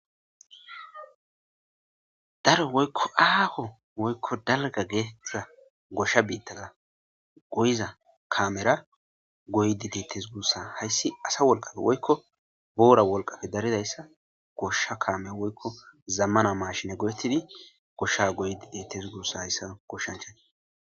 Daro woykko aaho woykko dalga geedura gosha biittada goyiza kaamera goydi deettes gurussa hayssi asa wolqafe woykko boora wolqafe daridayssa gosha kaamea woykko zammana mashina godettidi gosha goyidi deettes gurussa hayssa goshshanchana.